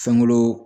Fɛnko